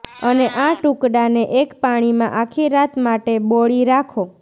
અને આ ટુકડાને એક પાણીમાં આખી રાત માટે બોળી રાખો